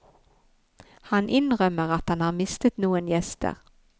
Han innrømmer at han har mistet noen gjester.